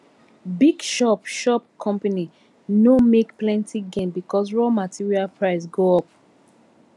big shop shop company no make plenty gain because raw material price go up